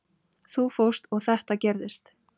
Þú fórst og þetta gerðist.